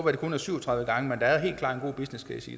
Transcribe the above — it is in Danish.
at det kun er syv og tredive gange men der er helt klart en god business case